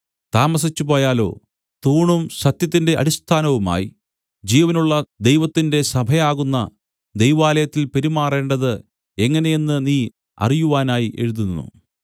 താമസിച്ചുപോയാലോ തൂണും സത്യത്തിന്റെ അടിസ്ഥാനവുമായി ജീവനുള്ള ദൈവത്തിന്റെ സഭയാകുന്ന ദൈവാലയത്തിൽ പെരുമാറേണ്ടത് എങ്ങനെയെന്ന് നീ അറിയുവാനായി എഴുതുന്നു